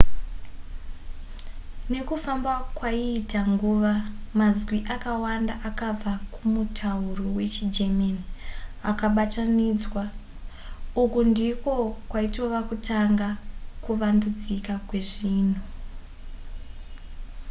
nekufamba kwaiita nguva mazwi akawanda akabva kumutauro wechigerman akabatanidzwa uku ndiko kwaitova kutanga kuvandudzika kwezvinhu